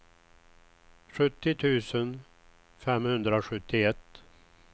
sjuttio tusen femhundrasjuttioett